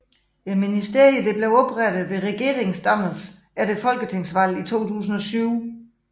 Ministeriet blev oprettet ved regeringsdannelsen efter folketingsvalget 2007